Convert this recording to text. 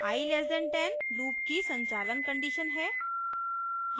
i <10 loop की संचालन condition है